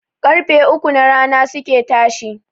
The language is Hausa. Ƙarfe uku na rana suke tashi